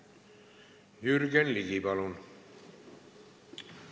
Jürgen Ligi, palun!